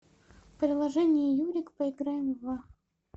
приложение юрик поиграем в